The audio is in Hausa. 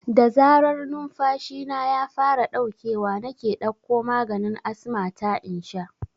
Da zarar numfashina ya fara ɗaukewa nake ɗakko maganin asma ta in sha